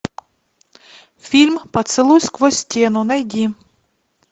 фильм поцелуй сквозь стену найди